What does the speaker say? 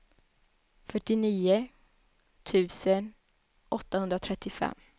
fyrtionio tusen åttahundratrettiofem